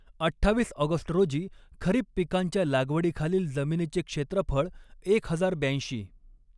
अठ्ठावीस ऑगस्ट रोजी खरीप पिकांच्या लागवडीखालील जमिनीचे क्षेत्रफळ एक हजार ब्याऐंशी.